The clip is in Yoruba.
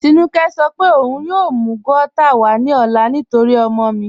Tínúkẹ̀ sọ̀ pé ọun yóò mú gauta wà ní ọ̀là nítorí ọ̀mọ mi.